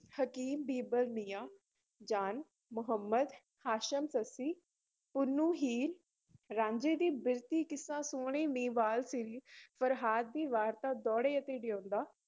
ਹਕੀਮ ਬਿਹਬਲ, ਮੀਆਂ ਜਾਨ, ਮੁਹੰਮਦ ਹਾਸ਼ਮ, ਸੱਸੀ ਪੁੰਨੂੰ, ਹੀਰ ਰਾਂਝੇ ਦੀ ਬਿਰਤੀ ਕਿੱਸਾ ਸੋਹਣੀ ਮਹੀਂਵਾਲ, ਸੀਰੀ ਫਰਹਾਦ ਦੀ ਵਾਰਤਾ ਦੋਹੜੇ ਅਤੇ ਡਿਉਡਾਂ